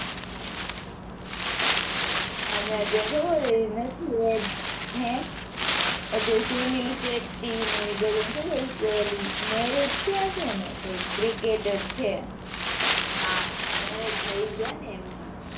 હમણાં ત્યાં ખબર. નથી હે અત્યારે sunil શેટ્ટી ને એ બધા ને ખબર marriage થયા છે ને કઈક ક્રિકેટર છે. હાં marriage થઈ ગયા ને એમના.